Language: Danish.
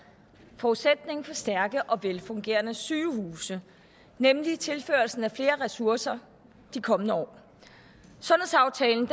forudsætning for stærke og velfungerende sygehuse nemlig tilførslen af flere ressourcer de kommende år sundhedsaftalen